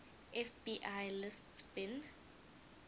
fbi lists bin